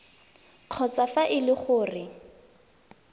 kgotsa fa e le gore